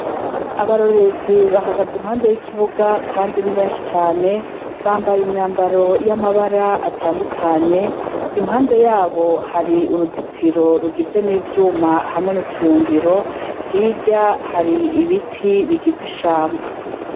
Abarorerezi bahagaze impande y’ikibuga kandi ni benshi cane , bambaye imyambaro y’amabara atandukanye, impande yabo hari uruzitiro rugizwe n’ivyuma hamwe n’utuyungiro , hirya hari ibiti bigize ishamba.